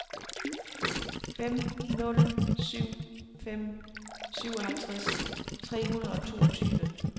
fem nul syv fem syvoghalvtreds tre hundrede og toogtyve